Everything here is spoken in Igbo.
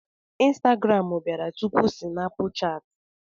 Instagram bịara tupu Sinapuchat.